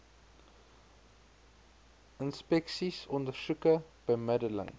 inspeksies ondersoeke bemiddeling